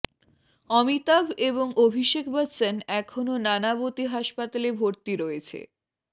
অমিতাভ এবং অভিষেক বচ্চন এখনও নানাবতী হাসপাতালে ভর্তি রয়েছে